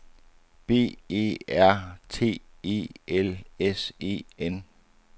B E R T E L S E N